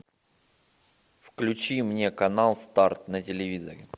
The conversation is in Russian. включи мне канал старт на телевизоре